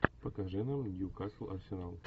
покажи нам нью касл арсенал